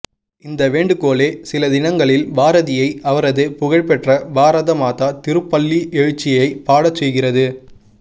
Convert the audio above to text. இந்த வேண்டுகோளே சில தினங்களில் பாரதியை அவரது புகழ் பெற்ற பாரத மாதா திருப்பள்ளியெழுச்சியைப் பாடச் செய்கிறது